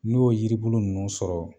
N'o yiribulu nunnu sɔrɔ